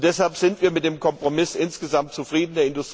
Deshalb sind wir mit dem Kompromiss insgesamt zufrieden.